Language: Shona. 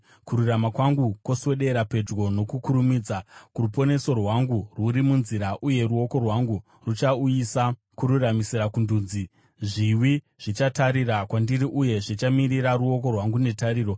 Kururama kwangu kwoswedera pedyo nokukurumidza, ruponeso rwangu rwuri munzira, uye ruoko rwangu ruchauyisa kururamisira kundudzi. Zviwi zvichatarira kwandiri uye zvichamirira ruoko rwangu netariro.